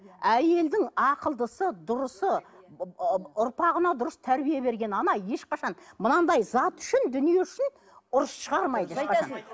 әйелдің ақылдысы дұрысы ұрпағына дұрыс тәрбие берген ана ешқашан мынандай зат үшін дүние үшін ұрыс шығармайды